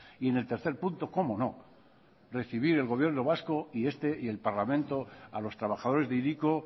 y en el tercer punto cómo no recibir el gobierno vasco y este y el parlamento a los trabajadores de hiriko